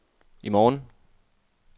i morgen